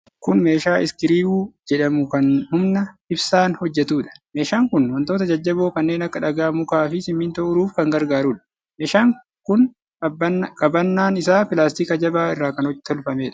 Kun meeshaa Iskiriwuu jedhamu, kan humna ibsaan hojjatuudha. Meeshaan kun wantoota jajjaboo kanneen akka dhagaa, mukaa fi simintoo uruuf kan gargaarudha. Meeshaan kun qabannaan isaa pilaastika jabaa irra kan tolfameedha.